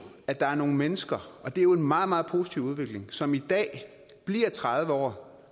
at der er nogle mennesker og det er jo en meget meget positiv udvikling som i dag bliver tredive år